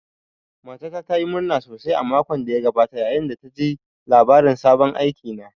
Matata ta yi murna sosai a makon da ya gabata, yayin da ta ji labarin sabon aikina